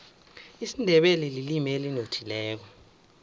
isindebele lilimi elinothileko